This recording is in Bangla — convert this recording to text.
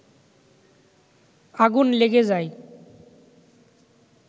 আগুন লেগে যায়